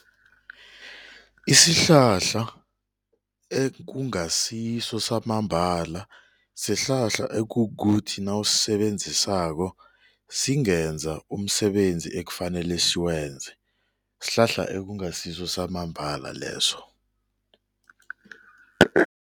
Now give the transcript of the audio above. Isihlahla ekungasiso samambala sihlahla ekukuthi nawusisebenzisako singenza umsebenzi ekufanele siwenze, sihlahla ekungasiso samambala leso.